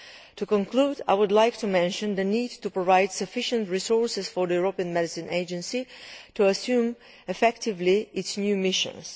To conclude, I would like to mention the need to provide sufficient resources for the European Medicines Agency to assume effectively its new missions.